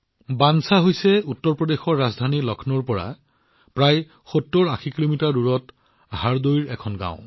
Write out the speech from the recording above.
বনচা হৈছে উত্তৰ প্ৰদেশৰ ৰাজধানী লক্ষ্ণৌৰ পৰা ৭০৮০ কিলোমিটাৰ দূৰত হাৰদৈৰ এখন গাওঁ